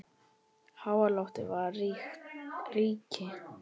Háaloft var ríki